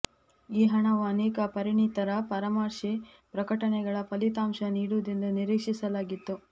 ಈ ಹಣವು ಅನೇಕ ಪರಿಣಿತರ ಪರಾಮರ್ಶೆ ಪ್ರಕಟಣೆಗಳ ಫಲಿತಾಂಶ ನೀಡುವುದೆಂದು ನಿರೀಕ್ಷಿಸಲಾಗಿತ್ತು